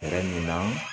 Fɛɛrɛ min na